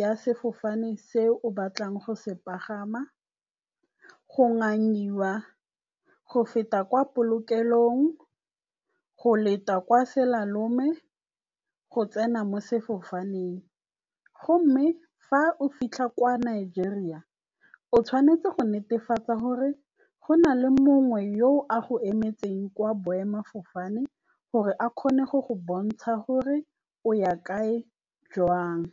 ya sefofane se o batlang go se pagama. Go ngangiwa, go feta kwa polokelong, go leta kwa selalone, go tsena mo sefofaneng. Gomme fa o fitlha kwa Nigeria o tshwanetse go netefatsa gore go na le mongwe yo a go emetseng kwa boemafofane gore a kgone go go bontsha gore o ya kae, jang.